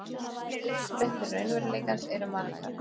Uppsprettur raunveruleikans eru margar.